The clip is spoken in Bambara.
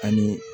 Ani